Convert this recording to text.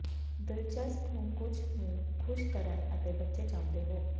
ਦਿਲਚਸਪ ਨੂੰ ਕੁਝ ਨੂੰ ਖ਼ੁਸ਼ ਕਰਨ ਅਤੇ ਬੱਚੇ ਚਾਹੁੰਦੇ ਹੋ